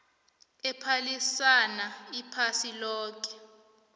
ephalisana iphasi loke